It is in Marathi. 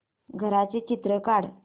घराचं चित्र काढ